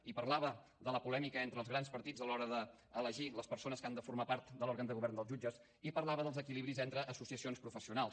i parlava de la polèmica entre els grans partits a l’hora d’elegir les persones que han de formar part de l’òrgan de govern dels jutges i parlava dels equilibris entre associacions professionals